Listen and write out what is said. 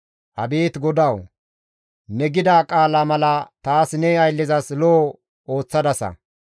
Abeet GODAWU! Ne gida qaala mala taas ne ayllezas lo7o ooththadasa.